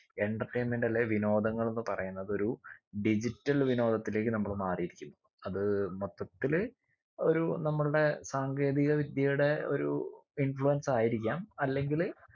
entertainment അല്ലെ വിനോദങ്ങള് എന്ന് പറയുന്നതൊരു digital വിനോദത്തിലേക്ക് നമ്മൾ മാറിയിരിക്കും അത് മൊത്തത്തില് ഒരു നമ്മളുടെ സാങ്കേതിക വിദ്യയുടെ ഒരു influence ആയിരിക്കാം അല്ലെങ്കില്